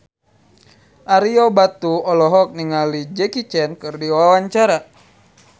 Ario Batu olohok ningali Jackie Chan keur diwawancara